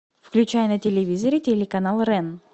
включай на телевизоре телеканал рен